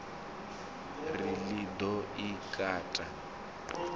ri ḽi ḓo i kata